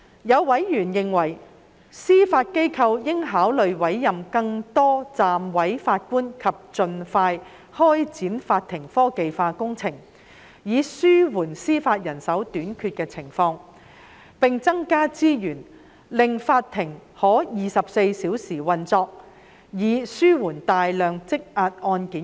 有委員認為司法機構應考慮委任更多暫委法官及盡快展開法庭科技化工程，以應對司法人手短缺；並增加資源，令法庭可24小時運作，以處理大量積壓的案件。